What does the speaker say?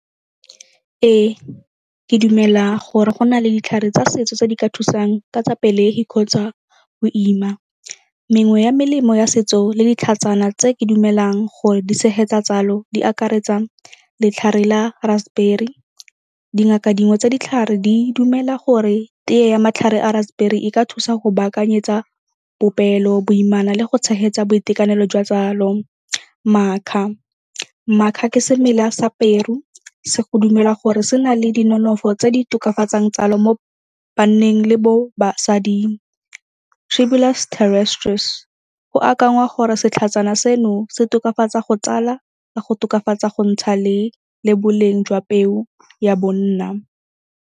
Ee, ke dumela gore go na le ditlhare tsa setso tse di ka thusang ka tsa pelegi kgotsa go ima. Mengwe ya melemo ya setso le ditlhatsana tse ke dumelang gore di tshegetsa tsalo di akaretsa letlhare la raspberry. Dingaka dingwe tsa ditlhare di dumela gore teye ya matlhare a raspberry e ka thusa go baakanyetsa popelo, boimana le go tshegetsa boitekanelo jwa tsalo. Macca, macca ke semela sa peru se go dumelwa gore se na le di nonofo tse di tokafatsang tsalo mo banneng le bo basading. Tribulus terrestris, go akangwa gore setlhatsana seno se tokafatsa go tsala ka go tokafatsa go ntsha le boleng jwa peo ya bonna.